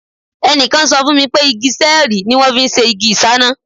Ẹnìkan sọ fún mi pé igi sẹ́ẹ̀rìì ni wọ́n fi ń ṣe igi ìṣáná.